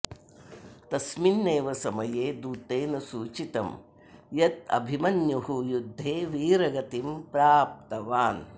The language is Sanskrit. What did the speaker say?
तस्मिन्नेव समये दूतेन सूचितं यद् अभिमन्युर्युद्धे वीरगतिं प्राप्तवान् इति